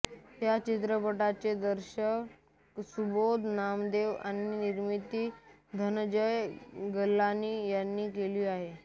या चित्रपटाचे दिग्दर्शन सुबोध नागदेव आणि निर्मिती धनंजय गलानी यांनी केली आहे